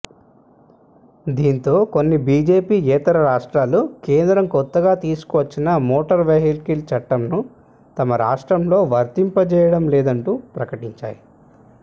దీంతో కొన్ని బీజేపీయేతర రాష్ట్రాలు కేంద్రం కొత్తగా తీసుకువచ్చిన మోటార్ వెహికల్ చట్టంను తమ రాష్ట్రాల్లో వర్తింపజేయడం లేదంటూ ప్రకటించాయి